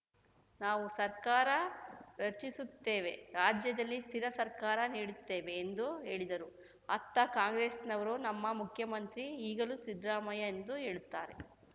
ನಾವು ಸರ್ಕಾರ ರಚಿಸುತ್ತೇವೆ ರಾಜ್ಯದಲ್ಲಿ ಸ್ಥಿರ ಸರ್ಕಾರ ನೀಡುತ್ತೇವೆ ಎಂದು ಹೇಳಿದರು ಅತ್ತ ಕಾಂಗ್ರೆಸ್‌ನವರು ನಮ್ಮ ಮುಖ್ಯಮಂತ್ರಿ ಈಗಲೂ ಸಿದ್ದರಾಮಯ್ಯ ಎಂದು ಹೇಳುತ್ತಾರೆ